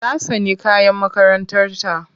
Ta tsani kayan makarantarta.